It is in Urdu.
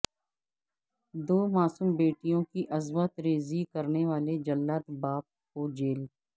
دو معصوم بیٹیوں کی عصمت ریزی کرنے والے جلاد باپ کو جیل